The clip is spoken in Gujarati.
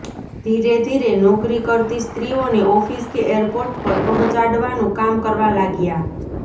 ધીરે ધીરે નોકરી કરતી સ્ત્રીઓને ઓફિસ કે એરપોર્ટ પર પહોંચાડવાનું કામ કરવા લાગ્યા